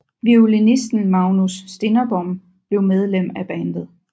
Violinisten Magnus Stinnerbom blev medlem af bandet